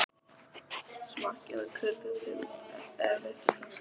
Smakkið og kryddið til ef ykkur finnst þurfa.